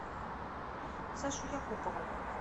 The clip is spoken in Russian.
сашу якупова